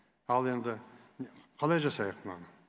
ал енді қалай жасайық мынаны